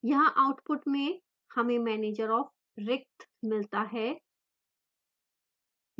यहाँ output में हमें manager of: रिक्त मिलता है